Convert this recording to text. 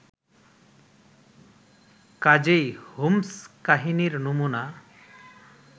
কাজেই হোমস্-কাহিনীর নমুনা